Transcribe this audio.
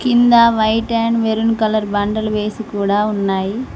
కింద white and maroon colour బండలు వేసి కూడా ఉన్నాయి.